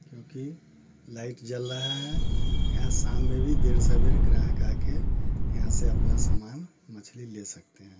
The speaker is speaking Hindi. क्युकी लाइट जल रहा है यहा शाम मे भी देर सबहेर ग्राहक आके यहा से अपना समान मछली ले सकते हैं।